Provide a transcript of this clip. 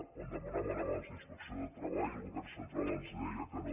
quan demanàvem abans la inspecció de treball el govern central ens deia que no